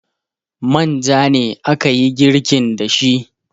manja ne aka yi girkin da shi